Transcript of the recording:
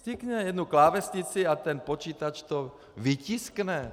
Stiskne jednu klávesnici a ten počítač to vytiskne.